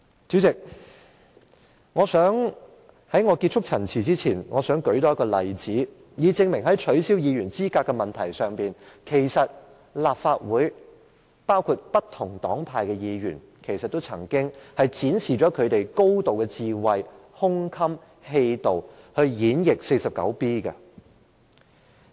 主席，在結束陳辭前，我想多舉一個例子，以證明在取消議員資格的問題上，其實立法會包括不同黨派的議員，均曾展示他們高度的智慧、胸襟、氣度，以演譯第 49B 條。